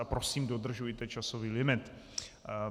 A prosím, dodržujte časový limit.